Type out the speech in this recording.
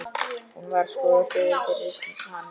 Hún var sköpuð fyrir hann.